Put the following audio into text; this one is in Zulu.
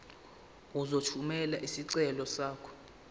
uzothumela isicelo sakho